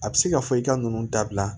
A bɛ se ka fɔ i ka ninnu dabila